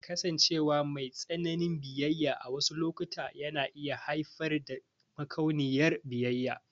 Kasancewa mai tsananin biyayya a wasu lokuta na iya haifar da makauniyar biyayya.